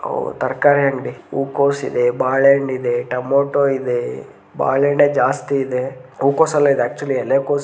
ಓ ತರಕಾರಿ ಅಂಗಡಿ ಹೂಕೋಸ ಇದೆ ಬಾಳೆಹಣ್ಣ ಇದೆ ಟೊಮೆಟೊ ಇದೆ ಬಾಳೆಹಣ್ಣೆ ಜಾಸ್ತಿ ಇದೆ ಹೂಕೋಸ ಅಲ್ಲಾಇದು ಆಕ್ಚುಲಿ ಎಲೆಕೋಸ --